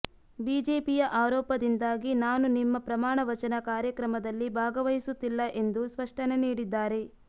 ಬಿಜೆಪಿಯ ಆರೋಪದಿಂದಾಗಿ ನಾನು ನಿಮ್ಮ ಪ್ರಮಾಣವಚನ ಕಾರ್ಯಕ್ರಮದಲ್ಲಿ ಭಾಗವಹಿಸುತ್ತಿಲ್ಲ ಎಂದು ಸ್ಪಷ್ಟನೆ ನೀಡಿದ್ದಾರೆ